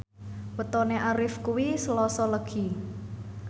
wetone Arif kuwi Selasa Legi